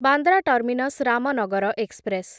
Bandra terminus Ramnagar express